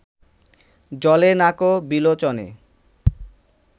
জ্বলে না ক বিলোচনে